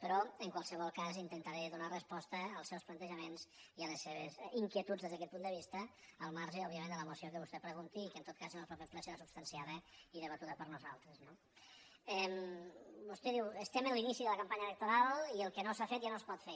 però en qualsevol cas intentaré donar resposta als seus plan·tejaments i a les seves inquietuds des d’aquest punt de vista al marge òbviament de la moció que vostè pre·gunti i que en tot cas en el proper ple serà substancia·da i debatuda per nosaltres no vostè diu estem en l’inici de la campanya electoral i el que no s’ha fet ja no es pot fer